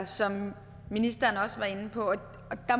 som ministeren også var inde på